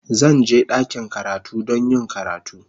Zan je ɗakin karatu don yin karatu.